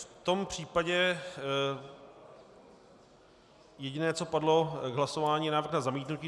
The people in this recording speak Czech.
V tom případě jediné, co padlo k hlasování - návrh na zamítnutí.